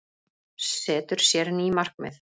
Setur sér ný markmið